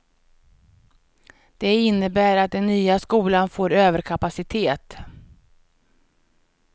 Det innebär att den nya skolan får överkapacitet.